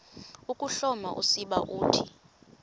ukuhloma usiba uthi